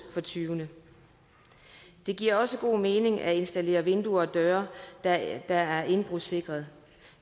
for tyvene det giver også god mening at installere vinduer og døre der er indbrudssikrede